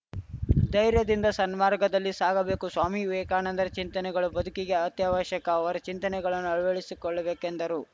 ಧೈರ್ಯದಿಂದ ಸನ್ಮಾರ್ಗದಲ್ಲಿ ಸಾಗಬೇಕು ಸ್ವಾಮಿ ವಿವೇಕಾನಂದರ ಚಿಂತನೆಗಳು ಬದುಕಿಗೆ ಅತ್ಯವಶ್ಯಕ ಅವರ ಚಿಂತನೆಗಳನ್ನು ಅಳವಡಿಸಿಕೊಳ್ಳಬೇಕೆಂದರು